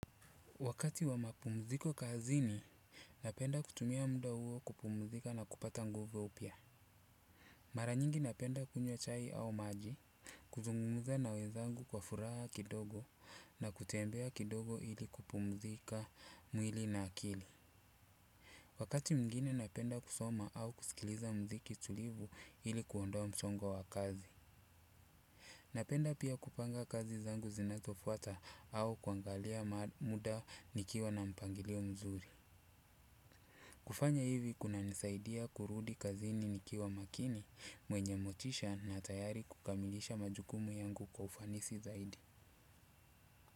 Wakati wa mapumziko kazini napenda kutumia muda huo kupumzika na kupata nguvu upya. Mara nyingi napenda kunywa chai au maji. Kuzungumza na wezangu kwa furaha kidogo na kutembea kidogo ili kupumzika mwili na akili. Wakati mwingine napenda kusoma au kusikiliza mziki tulivu ili kuondoa msongo wa wa kazi. Napenda pia kupanga kazi zangu zinazofuata au kuangalia muda nikiwa na mpangilio mzuri. Kufanya hivi kunanisaidia kurudi kazini nikiwa makini mwenye motisha na tayari kukamilisha majukumu yangu kwa ufanisi zaidi.